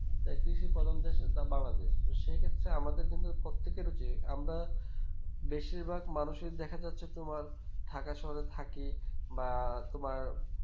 তাই কৃষি প্রধান দেশ Bangladesh সেক্ষেত্রে আমাদের কিন্তু আমরা বেশির ভাগ মানুষের দেখা যাচ্ছে তোমার থাকার সঙ্গে থাকি বা তোমার